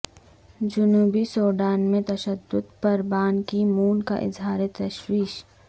جنوبی سوڈان میں تشدد پربان کی مون کا اظہار تشویش